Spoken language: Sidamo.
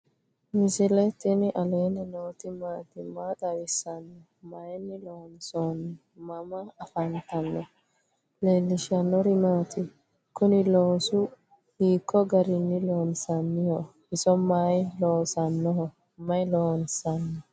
misile tini alenni nooti maati? maa xawissanno? Maayinni loonisoonni? mama affanttanno? leelishanori maati? kuuni loosu hiko garini lonsaniho? iso mayi loosanoho? mayi lonsani?